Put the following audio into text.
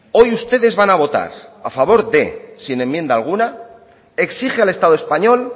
hoy ustedes van a votar a favor de sin enmienda alguna exige al estado español